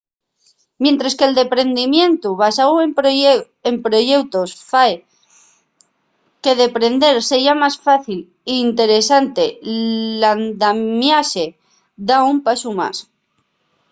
mientres que’l deprendimientu basáu en proyeutos fai que deprender seya más fácil y interesante l’andamiaxe da un pasu más